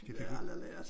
Det har jeg aldrig lært